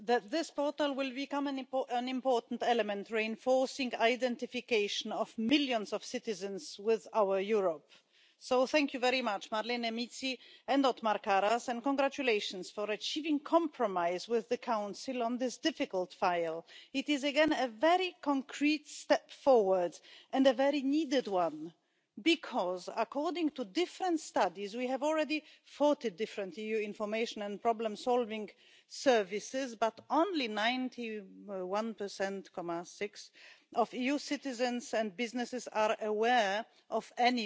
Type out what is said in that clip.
Există foarte multe petiții și cred că fiecare dintre noi primim aceste petiții legate de faptul că nu se descurcă un cetățean când merge într un alt stat. Spunea și colegul mai înainte, domnul Karas, că până la urmă munca noastră pare abstractă și trebuie să facem ceva care să ajungă la cetățean. Ei, acest regulament sigur va veni și va fi bine receptat de cetățeni și, până la urmă, câștigă toată lumea. Să interconectăm cetățenii și companiile, întreprinderile cu autoritățile locale, cu cele centrale și nu numai